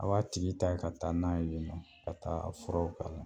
A b'a tigi ta ka taa n'a ye nɔ ka taa a furaw k'a la